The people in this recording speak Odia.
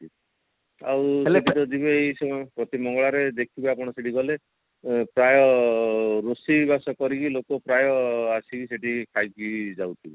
ଆଉ ସେଠିତ ଯିବେ ଏଇ ସବୁ ପ୍ରତି ମଙ୍ଗଳବାର ଦେଖିବେ ଆପଣ ସେଠି ଗଲେ ଆଁ ପ୍ରାୟ ରୋଷେଇ ବାସ କରିବି ଲୋକ ପ୍ରାୟ ଆସିକି ସେଠି ଖାଇକି ଯାଉଥିବେ